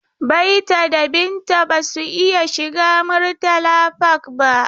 Baita da Binta ba su iya shiga Murtala Park ba.